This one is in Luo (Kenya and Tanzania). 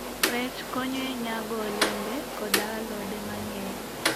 Rech konyo e nyago olembe koda alode mang'eny.